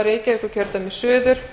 virðulegi forseti þetta er